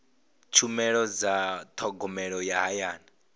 tshumelo dza thogomelo ya hayani